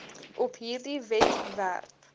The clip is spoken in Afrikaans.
op hierdie webwerf